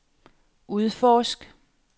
udforsk